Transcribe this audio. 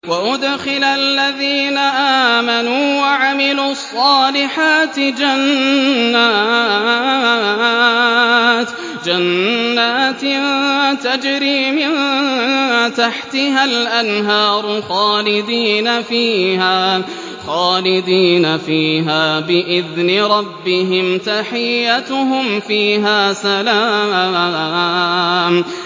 وَأُدْخِلَ الَّذِينَ آمَنُوا وَعَمِلُوا الصَّالِحَاتِ جَنَّاتٍ تَجْرِي مِن تَحْتِهَا الْأَنْهَارُ خَالِدِينَ فِيهَا بِإِذْنِ رَبِّهِمْ ۖ تَحِيَّتُهُمْ فِيهَا سَلَامٌ